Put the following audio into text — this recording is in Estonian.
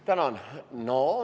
Tänan!